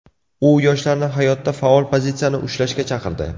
U yoshlarni hayotda faol pozitsiyani ushlashga chaqirdi.